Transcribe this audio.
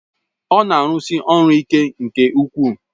Ọ na-arụsi ọrụ ike nke ukwuu